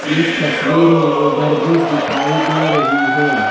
इस तस्वीर में ओवर ब्रिज दिखाई दे रही है।